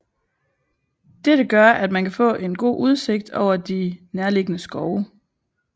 Dette gør at man kan få en god udsigt ud over de nærliggende skove